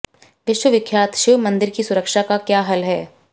विश्व विख्यात शिव मंदिर की सुरक्षा का क्या हल है